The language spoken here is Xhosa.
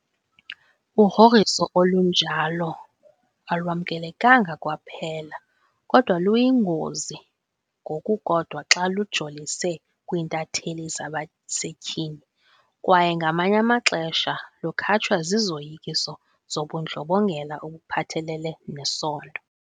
Ugrogriso olunjalo alwamkelekanga kwaphela, kodwa luyingozi ngokukodwa xa lujolise kwiintatheli zabasetyhini kwaye ngamanye amaxesha lukhatshwa zizoyikiso zobundlobongela obuphathelele nesondo.